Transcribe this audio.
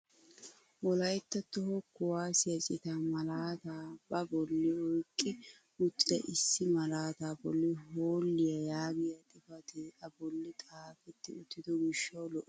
Wolaytta toho kuwaasiyaa citaa malaataa ba bolli oyqqi uttida issi malaataa bolli "hoolliyaa" yaagiyaa xifatee a bolli xaafetti uttido gishshawu lo"ees.